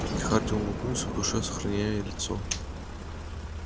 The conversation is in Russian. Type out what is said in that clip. и хардин улыбнулся в душе сохраняя лицо